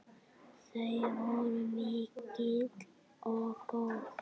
Þau voru mikil og góð.